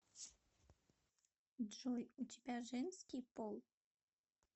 джой у тебя женский пол